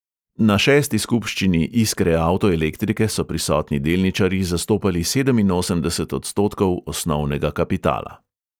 Na šesti skupščini iskre avtoelektrike so prisotni delničarji zastopali sedeminosemdeset odstotkov osnovnega kapitala.